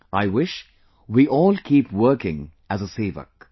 I wish we all keep working as a Sevak